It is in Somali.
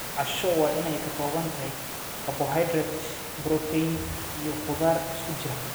Casho waa in ay ka kooban tahay karbohaydraytyo, borotiinno, iyo khudaar isku jira.